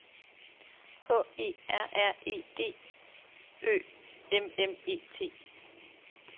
H E R R E D Ø M M E T